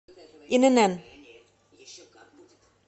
инн